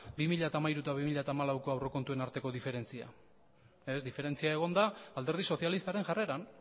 bi mila hamairu eta bi mila hamalaueko aurrekontuen arteko diferentzia ez diferentzia egon da alderdi sozialistaren jarreran